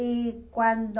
E quando...